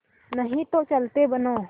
नहीं तो चलते बनो